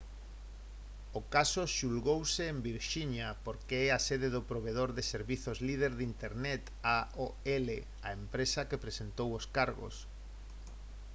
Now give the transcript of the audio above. o caso xulgouse en virxinia porque é a sede do provedor de servizos líder de internet aol a empresa que presentou os cargos